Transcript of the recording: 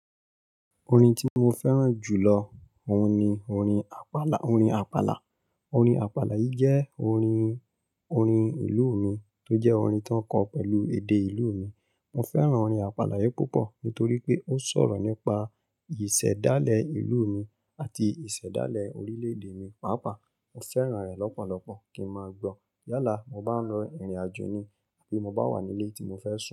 Orin tí mo fẹ́ràn jù lọ òun ni orin Àpàlà. Orin Àpàlà. Orin Àpàlà yìí jẹ́ orin, orin ìlú mi tó jẹ́ orin tó ń kọ pẹ̀lú èdè ìlú mi. Mo fẹ́ràn orin Àpàlà yìí púpọ̀ nítorí pé ó sọ̀rọ̀ nípa ìṣẹ̀dálẹ̀ ìlú mi àti ìṣẹ̀dálẹ̀ orílè-èdè mi. Pàápàá mo fẹ́ràn rẹ̀ lọ́pọ̀lọpọ̀ kí ń máa gbọ́ yálà mo bá ń lọ ìrìnàjò ni àbí mo bá wà nílé tí mo fẹ́ sùn.